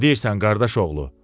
Nə deyirsən qardaşoğlu?